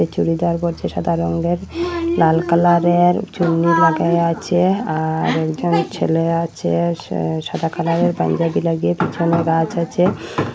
চুড়িদার পরছে সাদা রঙ্গের লাল কালারের চুন্নি লাগায়া আছে আর একজন ছেলে আছে সে সাদা কালারের পাঞ্জাবি লাগিয়ে পিছনে গাছ আছে।